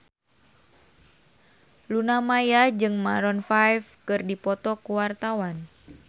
Luna Maya jeung Maroon 5 keur dipoto ku wartawan